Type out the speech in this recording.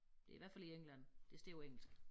Det i hvert fald i England det står på engelsk